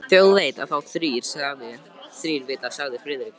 Þjóð veit þá þrír vita sagði Friðrik.